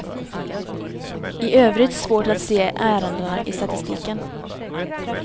I övrigt svårt att se ärendena i statistiken.